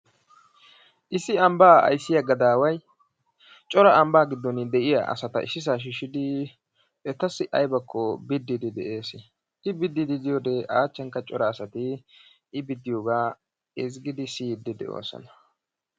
Issi ambaa ayssiya gadaaway cora ambaa asata issisaaa shiishidi etassi aybakko bidiidi de'oososna. I bidiidi de'iyode a achankka cora asay. I biddiyogaa siyiidi de'oososna.